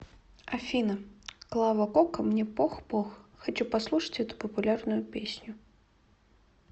афина клава кока мне пох пох хочу послушать эту популярную песню